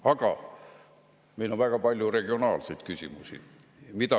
Aga meil on ka väga palju regionaalseid küsimusi.